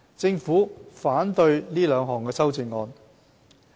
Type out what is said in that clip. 政府反對這兩項修正案。